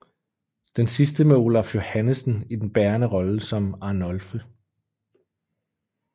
Den sidste med Olaf Johannessen i den bærende rolle som Arnolphe